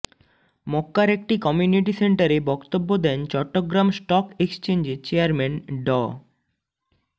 মক্কার একটি কমিউনিটি সেন্টারে বক্তব্য দেন চট্টগ্রাম স্টক একচেঞ্জের চেয়ারম্যান ড